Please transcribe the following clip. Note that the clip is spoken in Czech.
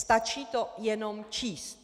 Stačí to jenom číst.